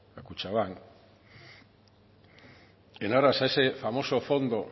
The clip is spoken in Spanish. a kutxabank en aras a ese famoso fondo